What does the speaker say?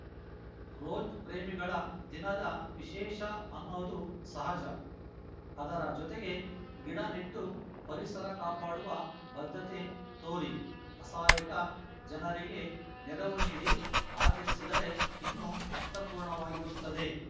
rose ಪ್ರೇಮಿಗಳ ದಿನದ ವಿಶೇಷ ಅನ್ನೋದು ಸಹಜ ಅದರ ಜೊತೆಗೆ ಗಿಡ ನೆಟ್ಟು ಪರಿಸರ ಕಾಪಾಡುವ ಬದ್ಧತೆ ತೋರಿ ಅಸಹಾಯಕ ಜನರಿಗೆ ನೆರವು ನೀಡಿ ಆಚರಿಸಿದರೆ ಇನ್ನು ಅರ್ಥಪೂರ್ಣವಾಗಿರುತ್ತದೆ